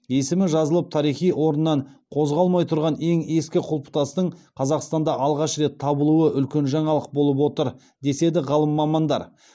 есімі жазылып тарихи орнынан қозғалмай тұрған ең ескі құлпытастың қазақстанда алғаш рет табылуы үлкен жаңалық болып отыр деседі ғалым мамандар